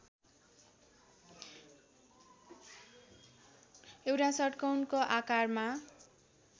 एउटा षट्कोणको आकारमा